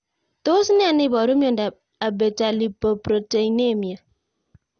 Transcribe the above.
Tos nee neiparu miondop Abetalipoproteinemia?